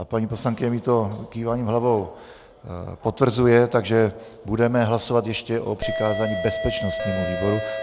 A paní poslankyně mi to kýváním hlavou potvrzuje, takže budeme hlasovat ještě o přikázání bezpečnostnímu výboru.